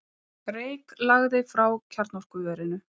Reyk lagði frá kjarnorkuverinu